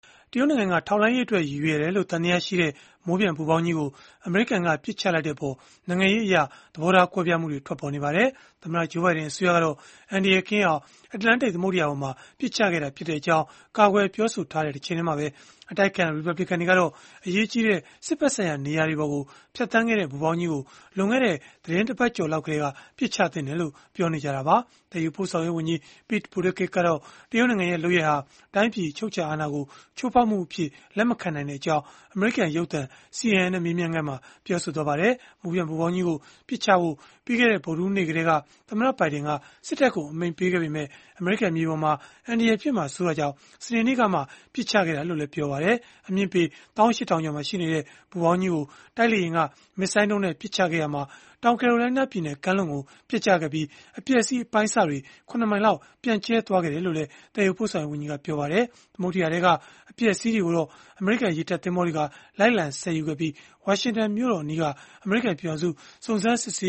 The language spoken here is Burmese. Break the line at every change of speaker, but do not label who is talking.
တရုတ်နိုင်ငံက ထောက်လှမ်းရေးအတွက်ရည်ရွယ်တယ်လို့သံသယရှိတဲ့ မိုးပျံပူဖောင်းကြီးကို အမေရိကန်ကပစ်ချလိုက်တဲ့အပေါ် နိုင်ငံရေးအရ သဘောထားကွဲပြားမှုတွေထွက်ပေါ်နေပါတယ်။ သမ္မတ Joe Biden အစိုးရကတော့ အန္တရာယ်ကင်းအောင် အတ္တလန်တိတ်သမုဒ္ဒရာပေါ်မှာ ပစ်ချခဲ့တာဖြစ်ကြောင်း ကာကွယ်ပြောဆိုထားတဲ့တချိန်တည်းမှာပဲ အတိုက်အခံ ရီပတ်ဘလစ်ကန်တွေကတော့ အရေးကြီးတဲ့ စစ်ဘက်ဆိုင်ရာနေရာတွေပေါ်ကို ဖြတ်သန်းခဲ့တဲ့ ပူဖောင်းကြီးကို လွန်ခဲ့တဲ့ သီတင်းတပတ်ကျော်လောက်ကတည်းက ပစ်ချသင့်တယ်လို့ ပြောနေကြတာပါ။ သယ်ယူပို့ဆောင်ရေးဝန်ကြီး Pete Buttigieg ကတော့ တရုတ်နိုင်ငံရဲ့လုပ်ရပ်ဟာ တိုင်းပြည်အချုပ်အခြာအာဏာကို ချိုးဖောက်မှုအဖြစ်လက်မခံနိုင်ကြောင်း အမေရိကန်ရုပ်သံ CNN နဲ့ မေးမြန်းခန်းမှာ ပြောခဲ့ပါတယ်။ မိုးပျံပူဖောင်းကြီးကို ပစ်ချဖို့ ပြီးခဲ့တဲ့ ဗုဒ္ဓဟူးနေ့ကတည်းက သမ္မတဘိုင်ဒန်က စစ်တပ်ကိုအမိန့်ပေးထားပေမဲ့ အမေရိကန်မြေပေါ်မှာ အန္တရာယ်ဖြစ်မှာစိုးတာကြောင့် စနေနေ့ကမှ ပစ်ချခဲ့တာလို့လည်း ပြောပါတယ်။ အမြင့်ပေ ၁၈,၀၀၀ ကျော်မှာရှိနေခဲ့တဲ့ ပူဖောင်းကြီးကို တိုက်လေယာဉ်က မစ်ဇိုင်းဒုံးနဲ့ပစ်ချခဲ့ရာမှာ တောင်ကယ်ရိုလိုင်းနားပြည်နယ်ကမ်းလွန်မှာ ပျက်ကျခဲ့ပြီး အပျက်အစီးအပိုင်းအစတွေဟာ ၇ မိုင်လောက် ပြန့်ကျဲသွားခဲ့တယ်လို့လည်း သယ်ယူပို့ဆောင်ရေးဝန်ကြီးက ပြောပါတယ်။ သမုဒ္ဒရာထဲကအပျက်အစီးတွေကိုတော့ အမေရိကန်ရေတပ်သင်္ဘောတွေက လိုက်လံဆယ်ယူခဲ့ပြီး ဝါရှင်တန်မြို့တော်အနီးက
အမေရိကန်ပြည်ထောင်စု စုံစမ်းစစ်ဆေ